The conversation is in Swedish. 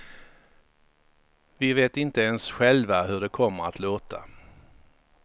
Vi vet inte ens själva hur det kommer att låta.